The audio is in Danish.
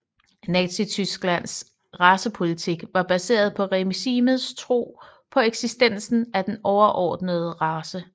Nazi Tysklands racepolitik var baseret på regimets tro på eksistensen af en overordnet race